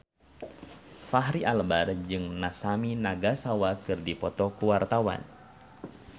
Fachri Albar jeung Masami Nagasawa keur dipoto ku wartawan